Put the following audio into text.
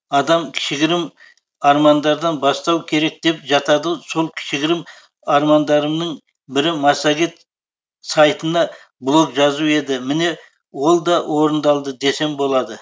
адам кішігірім армандардан бастау керек деп жатады сол кішігірім армандарымның бірі массагет сайтына блог жазу еді міне олда орындалды десем болады